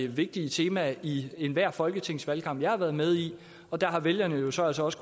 vigtige temaer i enhver folketingsvalgkamp som jeg har været med i og der har vælgerne jo så også også